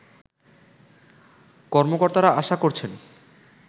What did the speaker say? কর্মকর্তারা আশা করছেন